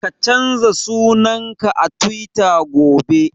Ka canza sunan ka a Tiwita gobe!